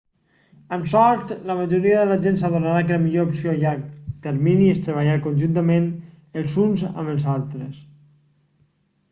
amb sort la majoria de la gent s'adonarà que la millor opció a llarg termini és treballar conjuntament els uns amb els altres